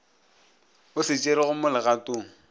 o se tšerego mo legatong